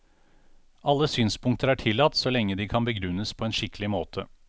Alle synspunkter er tillatt, så lenge de kan begrunnes på en skikkelig måte.